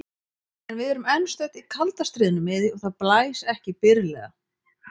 En við erum enn stödd í kalda stríðinu miðju og það blæs ekki byrlega.